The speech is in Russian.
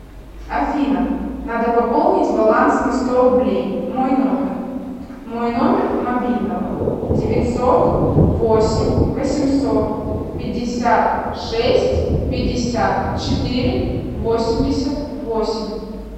афина надо пополнить баланс на сто рублей мой номер мой номер мобильного девятьсот восемь восемьсот пятьдесят шесть пятьдесят четыре восемьдесят восемь